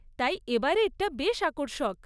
তাই এবারেরটা বেশ আকর্ষক।